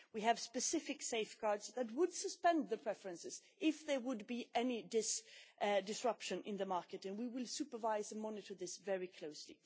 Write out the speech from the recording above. We have specific safeguards that would suspend the preferences if there were any disruption in the market and we will supervise and monitor this very closely.